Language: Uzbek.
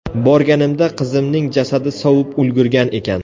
Borganimda qizimning jasadi sovib ulgurgan ekan.